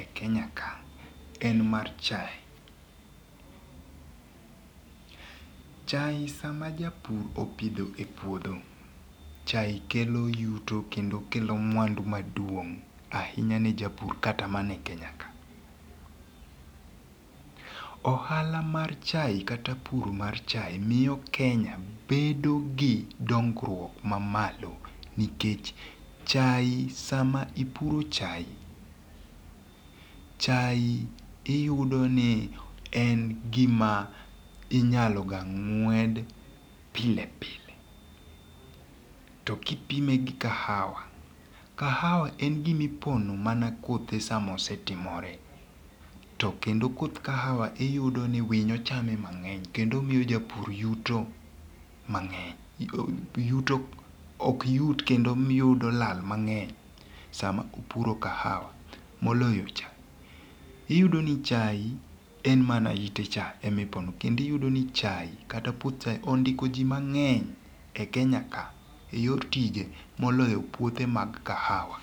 e Kenya ka en mar chae. Chae sama japur opidho e puodho, chae kelo yuto kendo kelo mwandu maduong' ahinya je japur kata mana e Kenya ka. Ohala mar chae kata pur mar chae miyo Kenya bedo gi dongruok ma malo nikech chae sama ipuro chae, chae iyudo ni en gima inyaloga ng'wed pile pile. To kipime gi kahawa, kahawa en gima ipono mana kothe sama osetimore. To kendo koth kahawa iyudo ni winyo chame mang'eny kendo omiyo japur yuto mang'eny yuto ok yud kendo miyo iyudo lal mang'eny sama opuro kahawa moloyo chae. Iyudo ni chae en mana ite cha e mipono kendo iyudo ni chae kata puoth chae ondiko ji mang'eny e Kenya ka e yor tije moloyo puothe mag kahawa.